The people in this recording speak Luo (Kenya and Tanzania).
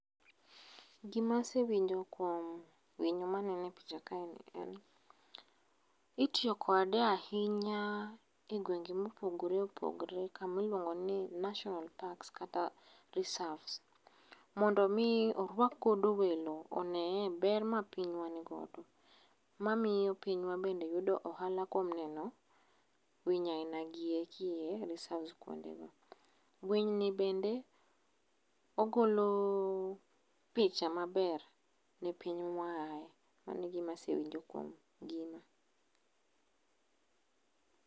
Gima asewinjo kuom winyo maneno e picha kae en, itiyo kode ahinya e gwenge ma opogore opogore kama iluongo ni National parks kata reserves[sc] mondo orwak godo welo oneye ber ma pinywa nigodo mamiyo pinywa bende yudo ohala kuom neno winy aina gieki e e reserve kuondego. Winy ni bende ogolo picha maber ne piny ma waaye. Mano egima asewinjo kuom gino